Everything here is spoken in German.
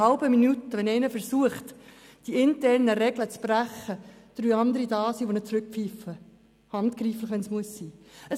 Wenn jemand versucht, die internen Regeln zu brechen, sind innert einer halben Minute drei Leute da, die ihn zurückhalten, auch handgreiflich, wenn es sein muss.